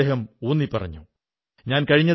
അനേകം ശുഭാശംസകൾ